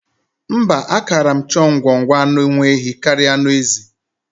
Mba, ákàrà m chọọ ngwọngwọ anụ nwaehi karịa anụ ezi.